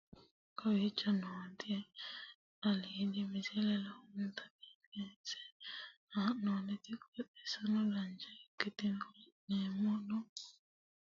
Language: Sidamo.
kowicho nooti aliidi misile lowonta biifinse haa'noonniti qooxeessano dancha ikkite la'annohano baxissanno misile leeltanni nooe ini misile lowonta biifffinnote yee hedeemmo yaate